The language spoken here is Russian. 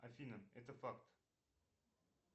афина это факт